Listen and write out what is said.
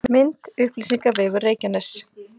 Mynd: Upplýsingavefur Reykjaness